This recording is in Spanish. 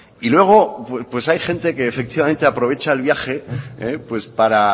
y luego pues hay gente que efectivamente aprovecha el viaje para